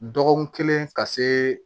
Dɔgɔkun kelen ka se